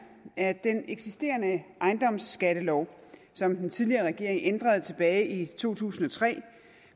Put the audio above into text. at den eksisterende ejendomsskattelov som den tidligere regering ændrede tilbage i to tusind og tre